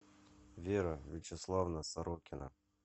вера вячеславовна сорокина